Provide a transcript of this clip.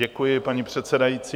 Děkuji, paní předsedající.